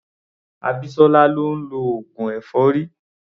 Abisola ni ó ń lọ oògùn èfọ́rí.